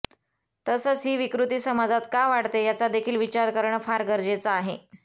तसंच ही विकृती समाजात का वाढते याचा देखील विचार करणं फार गरजेचं आहे